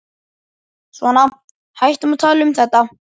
Svona, hættum að tala um þetta.